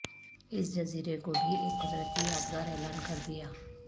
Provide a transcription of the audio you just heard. اس جزیرے کو بھی ایک قدرتی یادگار اعلان کر دیا